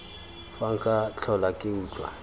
fa nka tlhola ke utlwa